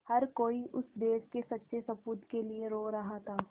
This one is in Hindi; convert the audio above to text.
हर कोई उस देश के सच्चे सपूत के लिए रो रहा था